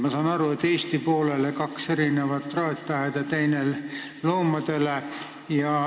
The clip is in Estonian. Ma saan aru, et Eesti poolele tuleb kaks erinevat traataeda, teine loomadele.